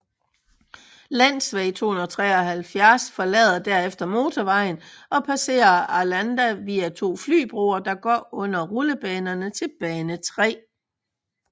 Länsväg 273 forlader derefter motorvejen og passerer Arlanda via to flybroer der går under rullebanerne til bane 3